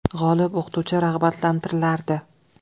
G‘olib o‘qituvchi rag‘batlantirilardi.